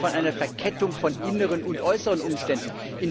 Warum reden Sie von einer Verkettung von inneren und äußeren Umständen.